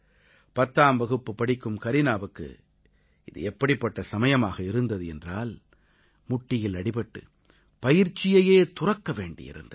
பத்தாம் வகுப்பு படிக்கும் கரீனாவுக்கு இது எப்படிப்பட்ட சமயமாக இருந்தது என்றால் முட்டியில் அடிபட்டு பயிற்சியையே துறக்க வேண்டியிருந்தது